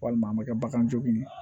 Walima an bɛ kɛ bagan jogin